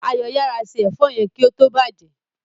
Ayo yara se èfó yén kí ó tó bàjé.